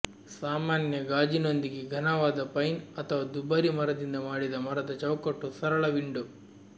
ಸಾಮಾನ್ಯ ಗಾಜಿನೊಂದಿಗೆ ಘನವಾದ ಪೈನ್ ಅಥವಾ ದುಬಾರಿ ಮರದಿಂದ ಮಾಡಿದ ಮರದ ಚೌಕಟ್ಟು ಸರಳ ವಿಂಡೋ